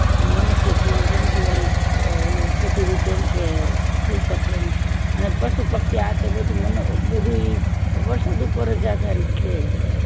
મનુષ્ય જીવન જન જીવન ઓલું બધી રીતે એમ કે થય શકે એમ અને પશુ પક્ષી આ તો બધુય તો વરસાદ ઉપર જ આધારિત જ છે એમ